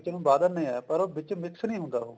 ਵਾਹ ਦਿੰਨੇ ਆ ਪਰ ਵਿੱਚ mix ਨੀ ਹੁੰਦਾ ਉਹ